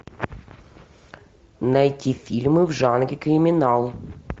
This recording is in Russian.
найти фильмы в жанре криминал